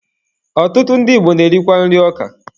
Ọtụtụ ndị Igbo na-erikwa nri ọka.